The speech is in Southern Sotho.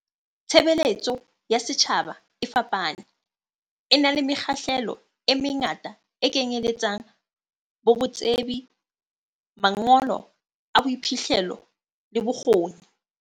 Tshebeletso ya setjhaba e fapane, e na le mekgahlelo e mengata e kenyeletsang bo tsebi, mangolo a boiphihlelo le bokgoni.